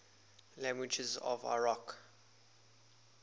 languages of iraq